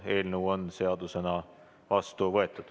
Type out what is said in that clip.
Eelnõu on seadusena vastu võetud.